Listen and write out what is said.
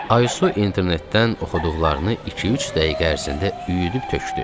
Aysu internetdən oxuduqlarını 2-3 dəqiqə ərzində üyüdüb tökdü.